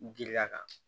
Giriya kan